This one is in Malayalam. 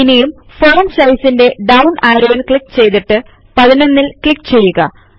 ഇനിയും ഫോണ്ട് സൈസ് ന്റെ ഡൌൺ ആരോയിൽ ക്ലിക്ക് ചെയ്തിട്ട് 11ൽ ക്ലിക്ക് ചെയ്യുക